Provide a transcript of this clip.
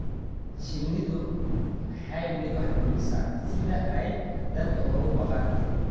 Shinnidu maaha mid wax dumisa sida ay dadku uga baqaan.